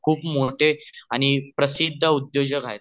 खूप मोठे आणि प्रसिद्ध उद्योजक आहे